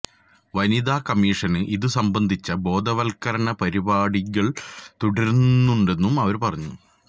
വനിതാ കമ്മീഷന് ഇതു സംബന്ധിച്ച ബോധവല്ക്കരണ പരിപാടികല് തുടരുന്നുണ്ടെന്നും അവര് പറഞ്ഞു